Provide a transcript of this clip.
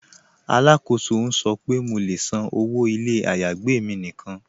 Alákóso n sọ̀ pe mó lè ṣán ọwọ́ ilẹ̀ ayágbẹ̀ mi níkan.